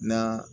Na